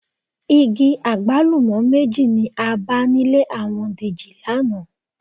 Igi àgbálùmọ́ méjì ni a bá nílé àwọn Dèjì lánàá